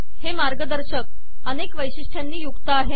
हे मार्गदर्शक अनेक वैशिष्ट्यांनी युक्त आहे